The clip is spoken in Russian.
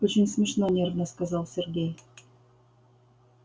очень смешно нервно сказал сергей